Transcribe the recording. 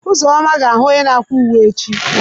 Uzoma ga ahu onye na akwa uwe echi.